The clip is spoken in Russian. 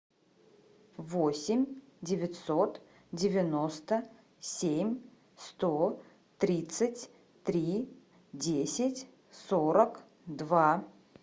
восемь девятьсот девяносто семь сто тридцать три десять сорок два